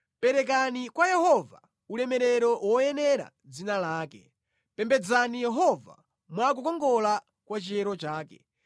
Perekani kwa Yehova ulemerero woyenera dzina lake, pembedzani Yehova mwa kukongola kwa chiyero chake.